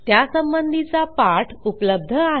त्यासंबंधीचा पाठ उपलब्ध आहे